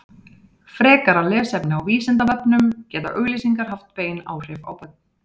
frekara lesefni á vísindavefnum geta auglýsingar haft bein áhrif á börn